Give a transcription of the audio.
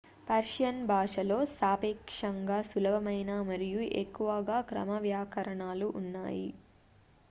Persian భాషలో సాపేక్షంగా సులభమైన మరియు ఎక్కువగా క్రమవ్యాకరణాలు ఉన్నాయి